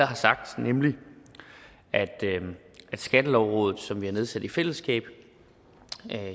har sagt nemlig at skattelovrådet som vi har nedsat i fællesskab